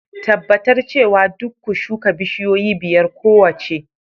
Tabbatar cewa duk ku shuka bishiyoyi biyar kowace